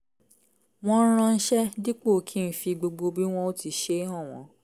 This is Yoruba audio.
wọ́n ránṣé díípọ̀ kí ń fi gbogbo bí wọn ó ti ṣe é hàn wọ́n